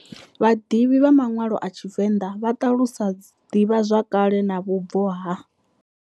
Vhadivhi vha manwalo a TshiVenda vha talusa divha zwakale na vhubvo ha.